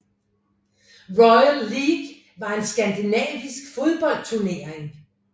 Royal League var en skandinavisk fodboldturnering